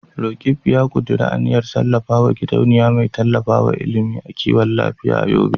Roqeeb ya kuduri aniyar kafa gidauniya mai tallafawa ilimi da kiwon lafiya a Yobe.